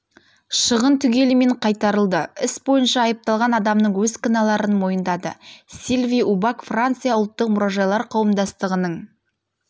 шығын түгелімен қайтарылды іс бойынша айыпталған адамның өз кінәларын мойындады сильви убак франция ұлттық мұражайлар қауымдастығының